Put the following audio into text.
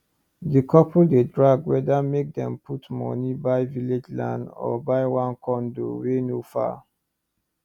di couple dey drag whether make dem put money buy village land or buy one condo wey no far